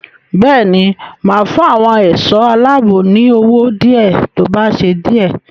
Bẹ́ẹ̀ ni, máa fún àwọn ẹ̀ṣọ́ aláàbò ní owó díẹ̀ tó bá ṣe díè.